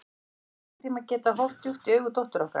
Höfðum við einhvern tíma getað horft djúpt í augu dóttur okkar?